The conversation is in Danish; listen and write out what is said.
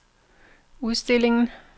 udstillingen